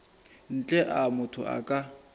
ntle a motho a ka